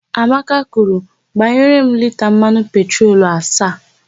Amaka kwuru, "gbanyere m lita mmanụ petrolu asaa"!